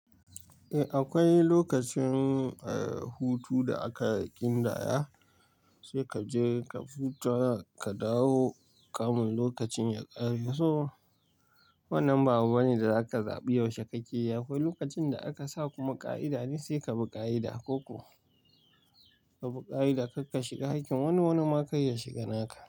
Eh akwai lokacin hutu da aka ƙin daya, sai ka je ka huta ka dawo kamun lokacin ya ƙare. So wannan ba abu bane da zaka zabi yaushe kake iya. Akwai lokacin da aka sa kuma ƙa'ida ne sai ka bi ƙa'ida. Koko ka bi ƙa'ida karka shiga hakkin wani, wani ma kar ya shiga naka.